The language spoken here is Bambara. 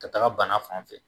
Ka taga bana fan fɛ